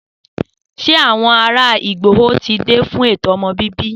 Se àwọn ará ìgbòho ti dé fún ètò ọmọ bíbí